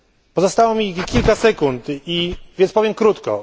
Pozostało mi tylko kilka sekund, więc powiem krótko.